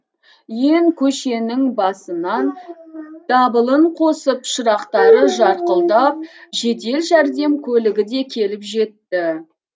иен көшенің басынан дабылын қосып шырақтары жарқылдап жедел жәрдем көлігі де келіп жетті